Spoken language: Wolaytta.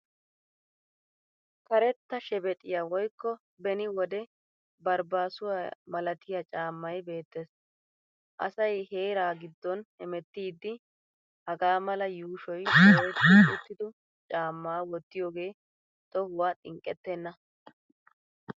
Karetta shebexiya woykko beni wode barbbaasuwa malatiya caammay beettes. Asay heeraa giddon hemmettiddi hagaa mala yuushoy dooyetti uttido caammaa wottiyoogee tohuwa xinqqettena.